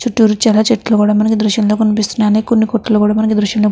చుట్టురా చెట్లు కూడ మనకు దృశ్యము లో కనిపిస్తున్నాయి కొన్ని కొట్లు కూడ మనకు దృశ్యం లో --